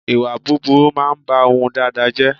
Ìwà búburú máa ń bá ohun dáadáa jẹ́